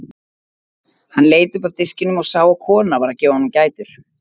Hann leit upp af diskinum og sá að kona var að gefa honum gætur.